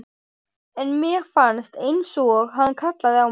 En mér fannst einsog hann kallaði á mig.